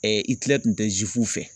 kun tɛ fɛ.